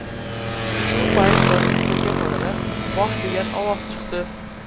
Shu payt yonimizdagi xonadan ‘voh’ degan ovoz chiqdi.